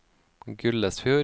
Gullesfjord